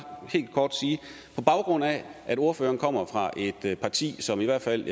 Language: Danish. helt kort på baggrund af at ordføreren kommer fra et parti som i hvert fald